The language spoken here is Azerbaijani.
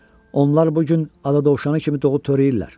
Onlar bu gün ada dovşanı kimi doğub törəyirlər."